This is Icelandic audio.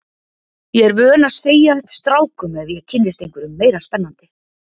Ég er vön að segja upp strákum ef ég kynnist einhverjum meira spennandi.